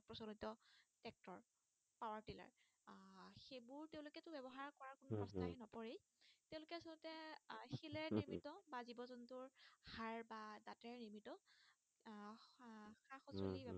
উম